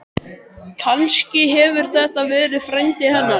Kannski hefur þetta verið frændi hennar?